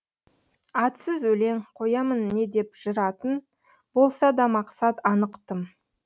атсыз өлең қоямын не деп жыр атын болса да мақсат анық тым